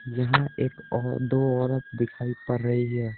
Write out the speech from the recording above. यहां एक औ दो औरत दिखाई पड़ रही है।